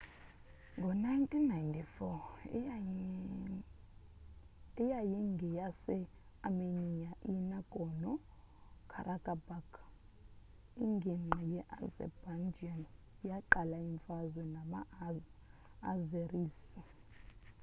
ngo-1994 eyayingeyase-armenia i-nagorno-karabakh inginqgi ye-azerbaijan yaqala imfazwe nama-azeris